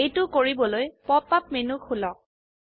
এইটো কৰিবলৈ pop up menu খুলক